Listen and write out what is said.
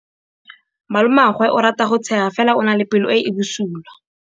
Malomagwe o rata go tshega fela o na le pelo e e bosula.